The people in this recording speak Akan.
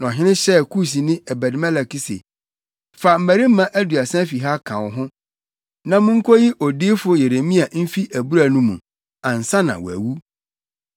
Na ɔhene hyɛɛ Kusni, Ebed-Melek se, “Fa mmarima aduasa fi ha ka wo ho, na munkoyi odiyifo Yeremia mfi abura no mu, ansa na wawu.”